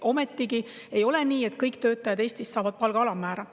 Ometigi ei ole nii, et kõik töötajad Eestis saavad palga alammäära.